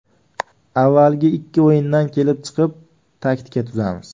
Avvalgi ikki o‘yindan kelib chiqib taktika tuzamiz.